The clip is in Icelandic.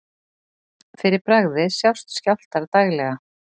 Fyrir bragðið sjást skjálftar daglega.